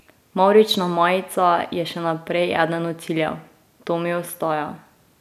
Mavrična majica je še naprej eden od ciljev: "To mi ostaja.